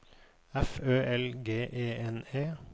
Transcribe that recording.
F Ø L G E N E